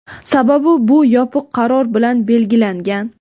Sababi — bu yopiq qaror bilan belgilangan.